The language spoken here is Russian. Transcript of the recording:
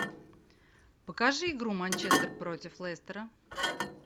покажи игру манчестер против лестера